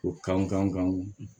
O kan